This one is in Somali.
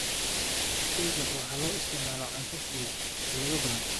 Keega waxaa loo isticmaalaa cunto fudud xaflado badan.